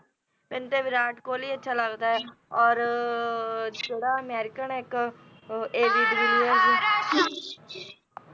ਮੈਨੂੰ ਤੇ ਵਿਰਾਟ ਕਿਹਲੀ ਅੱਛਾ ਲੱਗਦਾ ਔਰ ਜਿਹੜਾ ਅਮੇਰਿਕਨ ਹੈ ਇੱਕ ਉਂਜ ਏ ਬੀ ਡਿਵਿਲੀਅਰਜ਼